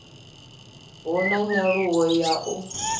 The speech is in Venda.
hu na nyaluwo ya u